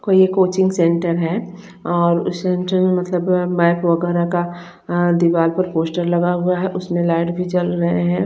कोई ये coaching centre है और सेंटर में मतलब मैप वगैरा का अ दीवाल पर पोस्टर लगा हुआ है उसमें लाइट भी जल रहे हैं।